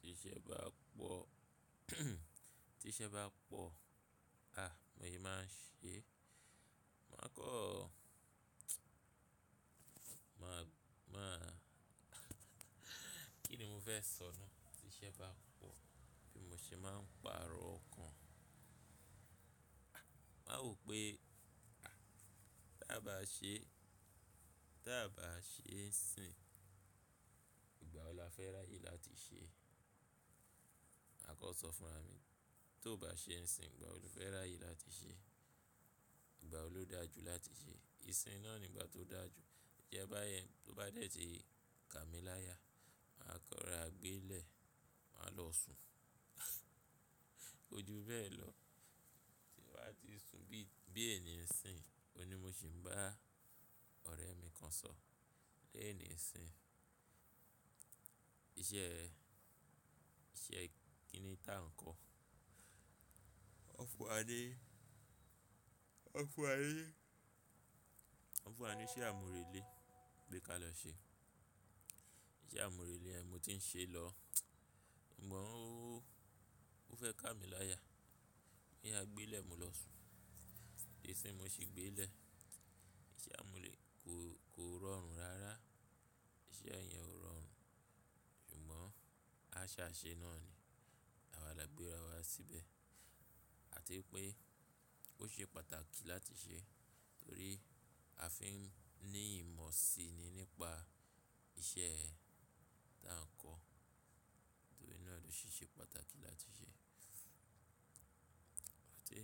Tiṣẹ́ bá pọ̀, tiṣẹ́ bá pọ̀, ah mo ye máa ṣe, máa kọ́, máa, máa kí ni mo fẹ́ sọ náà? Tiṣẹ́ bá pọ̀ bí mo ṣe máa ń pàrọ̀ ọkan. Ah, máa wo pé, ah, tí a bá ṣe, tí a bá ṣe ń sìn, ìgbà wo la fẹ́ ráyè láti ṣe? Ma kan sọ fún ra mí, tó bá ṣe ń sìn, ìgbà wo lo fẹ́ ráyè láti ṣe? Ìgbà wo ló dáa jù láti ṣe? Ìsìn náà ni ìgbà tó dáa jù. Jẹ́ báyẹn, tó bá dẹ̀ tí ká mi láya, máa kọ́ra gbe lẹ, máa lọ sùn. Ko ju bẹ́ẹ̀ lọ, tí bàá ti sùn bí, bí ènì ń sìn, òní mo sì ń bá ọ̀rẹ́ mi kan sọ, léèní sìn, iṣẹ́, iṣẹ́ kìn-in-ta nǹkọ. Wọ́n fún wa ní, wọ́n fún wa ní, wọ́n fún wa ní iṣẹ́ àmúrelé pé ka lọ ṣe. Iṣẹ́ àmúrelé yẹn mo ti ń ṣe lọ. Ṣùgbọ́n ó, ó fẹ́ ká mi láya, moya gbe lẹ̀ mo lọ sùn. Ìsìn mo ṣì gbe lè. Iṣẹ́ àmúrelé kò, kò rọrùn rárá. Iṣẹ́ ẹ̀ yẹn ò rọrùn. Ṣùgbọ́n àṣaṣẹ náà ni. Àwà là gbé rawá síbẹ̀. Àti wípé ó ṣe pàtàkì láti ṣe, torí a fi ń ní ìmọ̀ sí i nípa iṣẹ́ táa ń kọ́. Torí náà ló ṣe ṣe pàtàkì láti ṣe. Àti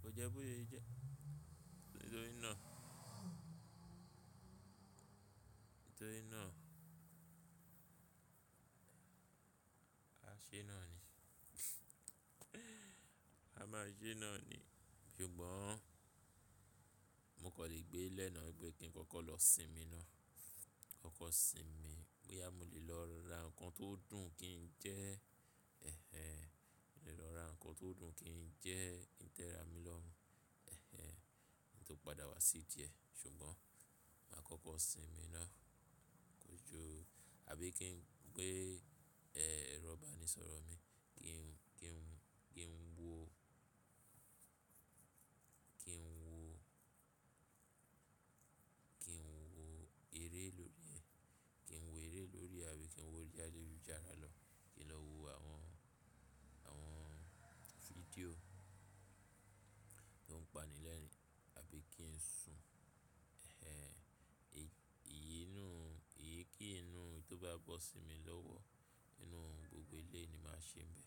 kó jẹ́ bó ṣe jẹ́, torí náà, torí náà, a ṣe náà ni. A máa ṣe náà ni. Ṣùgbọ́n mo kan lè gbe lẹ̀ náà, n pé kí n kọ́kọ́ lọ sinmi náà. Kọ́kọ́ sinmi, bóyá mo lè lọ ra nǹkan tó dùn kí njẹ́, ẹhẹń, mo lè lọ ra nǹkan tó dùn kí njẹ́ kí ń tẹ́ra mi lọ́mú, ẹhẹń, kí n tó padà wá sí ìdíẹ̀. Ṣùgbọ́n màá kọ́kọ́ sinmi náà, kò jo, àbí kí n gbé, ẹ́, ẹ̀rọ ìbánisọ̀rọ̀ mi kí n, kí n, kí n wo, kí n wo, kí n wo eré lórí ẹ, kí n wo eré lórí ẹ, àbí kí n wo orí ayélujára lọ, kí n lọ wo àwọn, àwọn fídíò tó ń paní lẹ̀nì, àbí kí n sùn. Ẹhẹń, iyíi nú, iyí kí yi nú tó bá bọ́ sí mi lọ́wọ́, inú gbogbo elé ni màá ṣe bẹ̀.